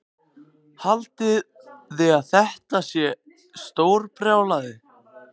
Haldiði að þetta sé stórmennskubrjálæði?